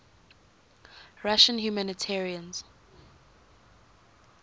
russian humanitarians